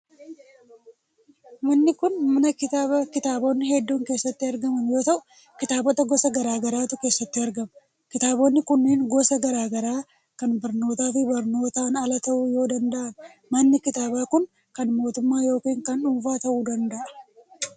Manni kun, mana kitaabaa kitaabonni hedduun keessatti argaman yoo ta'u, kitaabota gosa garaa garaatu keessatti argama. Kitaabonni kunneen gosaan garaa garaa kan barnootaa fi barnootan alaa ta'uu yoo danada'an, manni kitaabaa kun kan mootummaa yookin kan dhuunfaa ta'uu danda'a.